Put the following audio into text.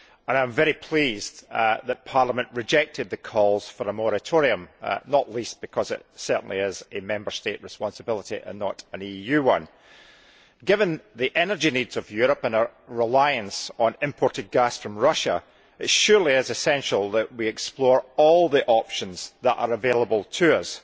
I am very pleased that Parliament rejected the calls for a moratorium, not least because it certainly is a Member State responsibility and not an EU one. Given the energy needs of Europe and our reliance on imported gas from Russia, it is essential that we explore all the options that are available to us,